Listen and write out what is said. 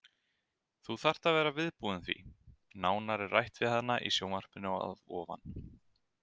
Þú þarft að vera viðbúin því. Nánar er rætt við hana í sjónvarpinu að ofan.